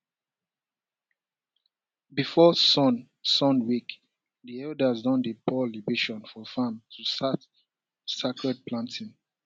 before sun sun wake di elders don dey pour libation for farm to start sacred planting um